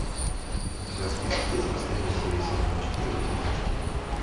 у тебя в списке есть последняя серия сезона четыре во все тяжкие